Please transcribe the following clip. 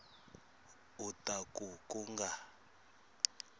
u ta ku ku nga